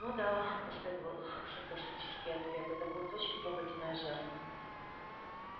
ну да последовал саркастический ответ это будет очень трогательная жертва